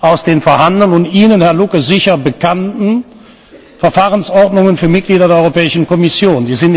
aus den vorhandenen und Ihnen, Herr Lucke, sicher bekannten Verfahrensordnungen für Mitglieder der Europäischen Kommission.